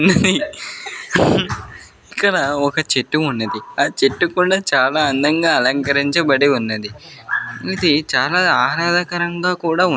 ఇక్కడ ఒక చెట్టు ఉన్నదీ ఆ చెట్టు కూడా చాలా అందంగా అలంకరించబడి ఉన్నదీ ఇది చాలా ఆహ్లాదకరంగా కూడా ఉంది.